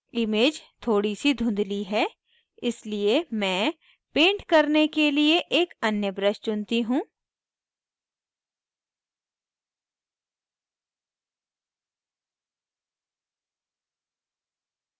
image थोड़ी सी धुँधली है इसलिए मैं paint करने के लिए एक अन्य brush चुनती हूँ